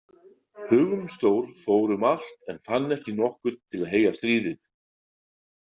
Hugumstór fór um allt en fann ekki nokkurn til að heyja stríð við.